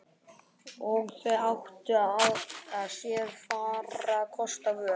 Og þau áttu sér fárra kosta völ.